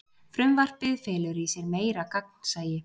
Frumvarpið felur í sér meira gagnsæi